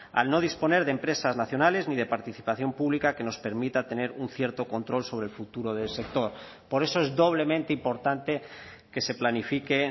al no disponer de empresas nacionales ni de participación pública que nos permita tener un cierto control sobre el futuro del sector por eso es doblemente importante que se planifique